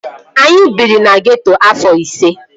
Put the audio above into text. Anyị biri na geeto afọ ise